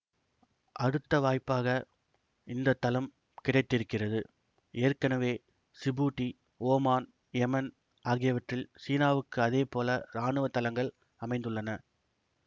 அடுத்த வாய்ப்பாக இந்த தளம் கிடைத்திருக்கிறது ஏற்கெனவே சிபூட்டி ஓமான் யேமன் ஆகியவற்றில் சீனாவுக்கு இதே போல ராணுவ தளங்கள் அமைந்துள்ளன